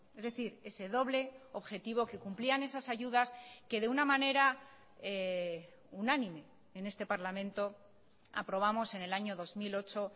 es decir ese doble objetivo que cumplían esas ayudas que de una manera unánime en este parlamento aprobamos en el año dos mil ocho